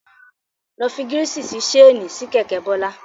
Lọ fi gírísì sí ṣéènì sí kẹ̀kẹ́ Bọ́lá.